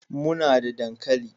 Muna da dankali